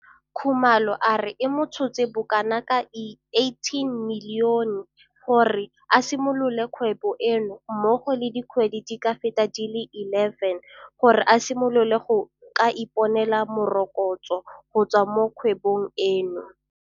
Khumalo a re e mo tshotse bokanaka R18 milione gore a simolole kgwebo eno mmogo le dikgwedi di ka feta di le 11 gore a simolole go ka iponela morokotso go tswa mo kgwebong eno.